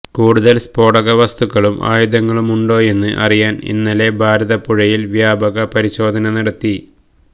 കൂടുതല് സ്ഫോടക വസ്തുക്കളും ആയുധങ്ങളുമുണ്ടോയെന്ന് അറിയാന് ഇന്നലെ ഭാരതപ്പുഴയില് വ്യാപക പരിശോധന നടത്തി